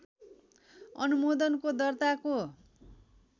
अनुमोदनको दर्ताको